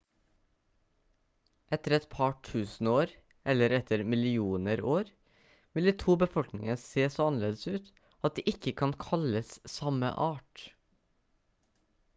etter et par tusen år eller etter millioner år vil de to befolkningene se så annerledes ut at de ikke kan kalles samme art